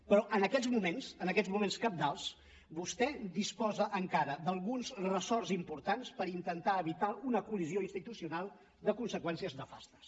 però en aquests moments en aquests moments cabdals vostè disposa encara d’alguns ressorts importants per intentar evitar una col·lisió institucional de conseqüències nefastes